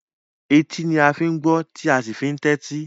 Etí ni a fi ń gbọ́, tí a sì fi ń tẹ́tí.